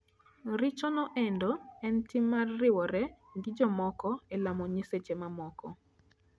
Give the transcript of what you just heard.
Richo noendo en tim mar riwore gi jomoko e lamo nyiseche mamoko.